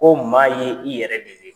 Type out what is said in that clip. Ko maa ye i yɛrɛ de ye.